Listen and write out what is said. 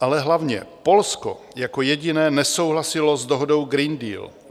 Ale hlavně, Polsko jako jediné nesouhlasilo s dohodou Green Deal.